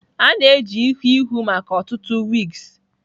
A na-eji ihu ihu maka ọtụtụ wigs.